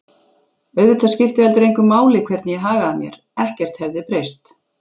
Auðvitað skipti heldur engu máli hvernig ég hagaði mér, ekkert hefði breyst.